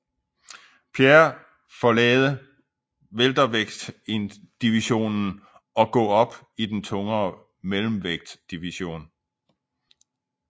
Pierre forlade weltervægtsdivisionen og gå op i den tungere mellemvægtsdivisionen